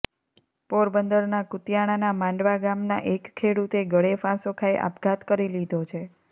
પોરબંદરના કુતિયાણાના માંડવા ગામના એક ખેડૂતે ગળે ફાંસો ખાઈ આપઘાત કરી લીધો છે